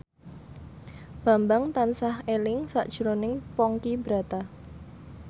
Bambang tansah eling sakjroning Ponky Brata